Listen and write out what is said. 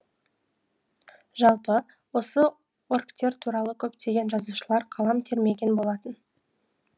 жалпы осы орктер туралы көптеген жазушылар қалам термеген болатын